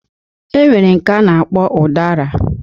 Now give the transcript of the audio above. Enwere nke a na-akpọ ụdara